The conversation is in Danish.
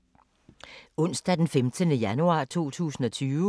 Onsdag d. 15. januar 2020